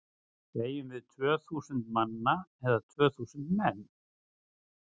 Segjum við tvö þúsund manna eða tvö þúsund menn?